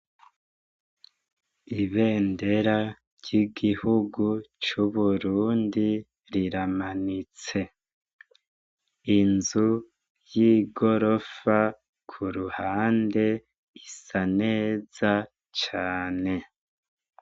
Ibendera ryigihugu cuburundi riramanitse inzu yigorofa kuruhande gisa neza cane